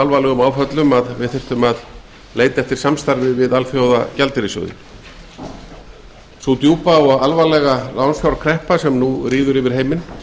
alvarlegum áföllum að við þyrftum að leita til alþjóðagjaldeyrissjóðsins sú djúpa og alvarlega lánsfjárkreppa sem nú ríður yfir heiminn